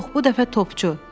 Yox, bu dəfə topçu.